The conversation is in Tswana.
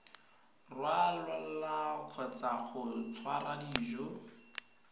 rwala kgotsa go tshwara dijo